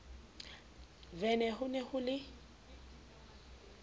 vene ho ne ho le